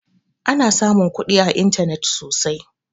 Ana samun kuɗi a intanet sosai